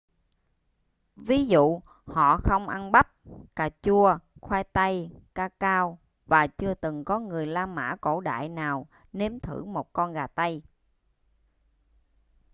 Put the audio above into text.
ví dụ họ không ăn bắp cà chua khoai tây ca cao và chưa từng có người la mã cổ đại nào nếm thử một con gà tây